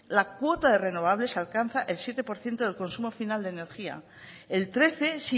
la cuota de renovables alcanza el siete por ciento del consumo final de energía el trece